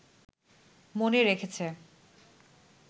মনে রেখেছে